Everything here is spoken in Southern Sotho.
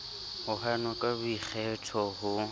ho hanwa ka boikgetho ho